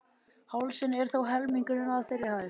Hálsinn er þó helmingurinn af þeirri hæð.